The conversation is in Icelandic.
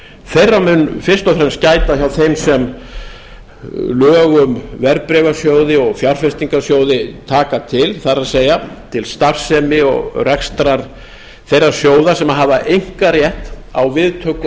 þeirra mun fyrst og fremst gæta hjá þeim sem lög um verðbréfasjóði og fjárfestingarsjóði taka til það er til starfsemi og rekstrar þeirra sjóða sem hafa einkarétt á viðtöku